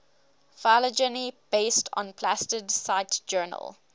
phylogeny based on plastid cite journal